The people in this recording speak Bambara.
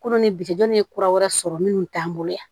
Kolo ni biti ye kura wɛrɛ sɔrɔ minnu t'an bolo yan